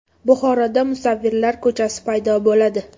Buxoroda musavvirlar ko‘chasi paydo bo‘ladi.